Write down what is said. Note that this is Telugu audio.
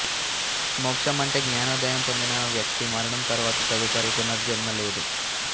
మోక్షం అంటే జ్ఞానోదయం పొందిన వ్యక్తి మరణం తరువాత తదుపరి పునర్జన్మ లేదు